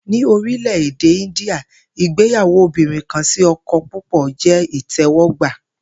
Ní orílè̩-èdè India, ìgbéyàwó obìnrin-kan-sí-o̩ko̩-púpò̩ jé̩ ìté̩wó̩gbà